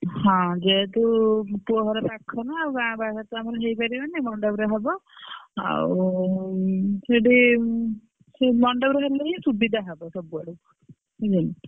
ହଁ ଯେହେତୁ ପୁଅ ଘର ପାଖରେ ନା ଆଉ ଗାଁ ପାଖରେ ତ ଆମର ହେଇପାରିବନି ମଣ୍ଡପରେ ହବ। ଆଉ ଉଁ ସେଇଠି ସେ ମଣ୍ଡପରେ ହେଲେ ହିଁ ସୁବିଧା ହବ ସବୁଆଡୁ ନୁହେଁ ?